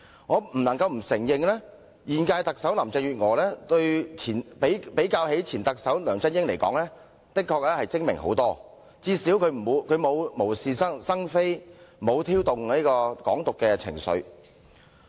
我不得不承認現屆特首林鄭月娥的確遠較前任特首梁振英精明，至少她不會無是生非，也沒有挑動"港獨"情緒。